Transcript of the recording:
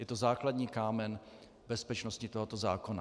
Je to základní kámen bezpečnosti tohoto zákona.